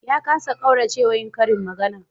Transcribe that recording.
Ya kasa ƙaurace wa yin karin magana